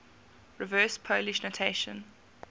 reverse polish notation